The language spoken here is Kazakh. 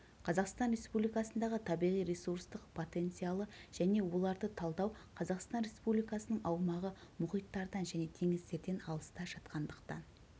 қазақстан республикасындағы табиғи-ресурстық потенциалы және оларды талдау қазақстан республикасының аумағы мұхиттардан және теңіздерден алыста жатқандықтан